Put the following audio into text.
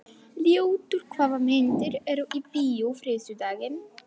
Ljótur, hvaða myndir eru í bíó á þriðjudaginn?